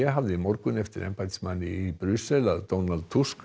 hafði í morgun eftir embættismanni í Brussel að Donald Tusk